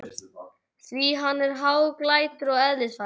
Því hann var hæglátur að eðlisfari.